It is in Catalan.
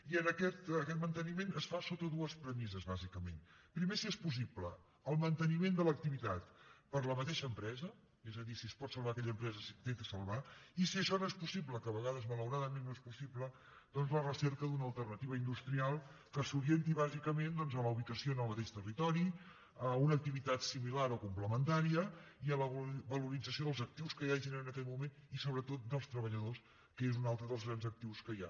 i aquest manteniment es fa sota dues premisses bàsicament primer si és possible el manteniment de l’activitat per la mateixa empresa és a dir si es pot salvar aquella empresa s’intenta salvar i si això no és possible que a vegades malauradament no és possible doncs la recerca d’una alternativa industrial que s’orienti bàsicament a la ubicació en el mateix territori a una activitat similar o complementària i a la valorització dels actius que hi hagin en aquell moment i sobretot dels treballadors que és un altre dels grans actius que hi ha